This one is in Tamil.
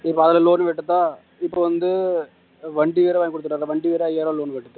இப்ப அதுல loan கட்டுத்தான் இப்ப வந்து வண்டி வேற வாங்கி கொடுத்துட்டாங்க வண்டி வேற ஐயாயிரம் loan கட்டுது